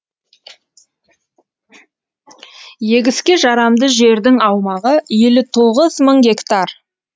егіске жарамды жердің аумағы елу тоғыз мың гектар